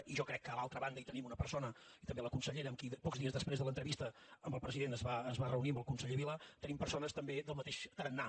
i jo crec que a l’altra banda hi tenim una persona i també la consellera amb qui pocs dies després de l’entrevista amb el president es va reunir amb el conseller vila hi tenim persones també del mateix tarannà